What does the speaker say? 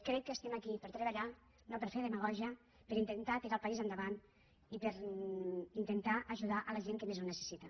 crec que estem aquí per a treballar no per a fer demagògia per a intentar tirar el país endavant i per a intentar ajudar la gent que més ho necessita